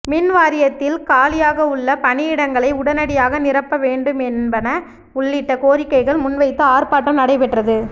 mini வாரியத்தில் காலியாகவுள்ள பணியிடங்களை உடனடியாக நிரப்ப வேண்டும் என்பன உள்ளிட்ட கோரிக்கைகள் முன்வைத்து ஆா்ப்பாட்டம் நடைபெற்றது